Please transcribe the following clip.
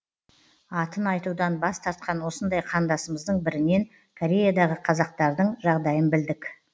атын айтудан бас тартқан осындай қандасымыздың бірінен кореядағы қазақстардың жағдайын білдік